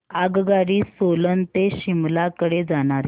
आगगाडी सोलन ते शिमला कडे जाणारी